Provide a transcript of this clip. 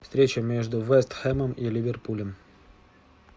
встреча между вест хэмом и ливерпулем